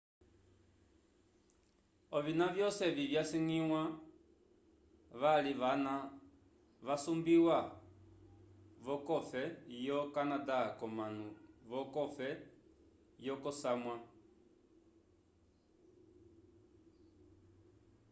ovina vyosi evi vyangwya vali vana vasumbiwa vocofe yo canada comanu vocofe yokosamwa